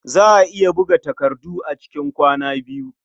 Za a iya buga takarda a cikin kwana biyu.